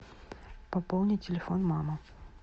пополни телефон мамы